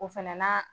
O fɛnɛ n'a